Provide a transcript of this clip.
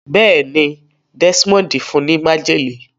béèni Desmond fún ní májèlé.